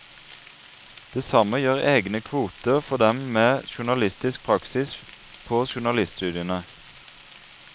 Det samme gjør egne kvoter for dem med journalistisk praksis på journaliststudiene.